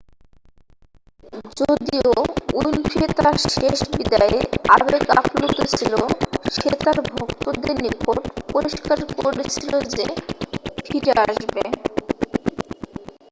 যদিও উইনফ্রে তার শেষ বিদায়ে আবেগ আপ্লুত ছিল সে তার ভক্তদের নিকট পরিস্কার করেছিল যে ফিরে আসবে